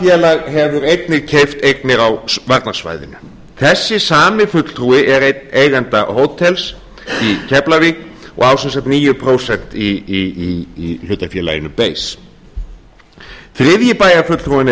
félag hefur einnig keypt eignir á varnarsvæðinu þessi sami fulltrúi er einn eigenda hótels í keflavík og á sem sagt níu prósent í hlutafélaginu ber þriðji bæjarfulltrúinn er